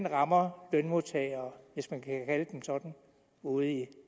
rammer lønmodtagere hvis man kan kalde dem sådan ude i